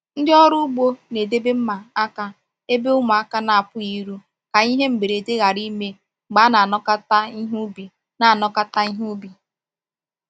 Ndị ọrụ ugbo na-edebe mma aka ebe ụmụaka na-apụghị iru ka ihe mberede ghara ime mgbe a na-anakọta ihe ubi. na-anakọta ihe ubi.